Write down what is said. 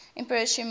emperor sh mu